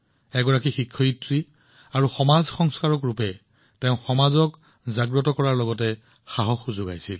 এজন শিক্ষক আৰু এজন সমাজ সংস্কাৰক হিচাপে তেওঁ সমাজক সজাগ কৰিছিল আৰু তেওঁলোকৰ মনোবল বৃদ্ধি কৰিছিল